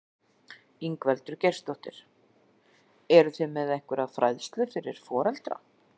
Ingveldur Geirsdóttir: Eruð þið með einhverja fræðslu fyrir foreldra?